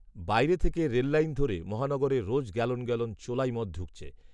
বাইরে থেকে রেললাইন ধরে মহানগরে রোজ গ্যালন গ্যালন চোলাই মদ ঢুকছে